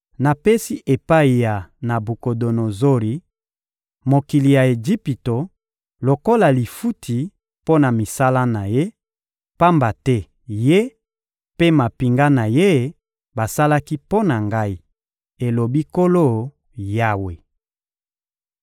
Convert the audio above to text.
Napesi epai ya Nabukodonozori mokili ya Ejipito lokola lifuti mpo na misala na ye, pamba te ye mpe mampinga na ye basalaki mpo na Ngai, elobi Nkolo Yawe.